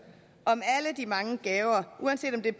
om alle de mange gaver uanset om det